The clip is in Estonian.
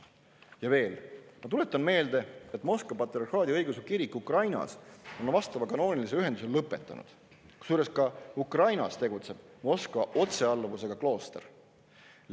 Ja veel, ma tuletan meelde, et Moskva patriarhaadi õigeusu kirik Ukrainas on vastava kanoonilise ühenduse lõpetanud, kusjuures ka Ukrainas tegutseb Moskva otsealluvusega klooster.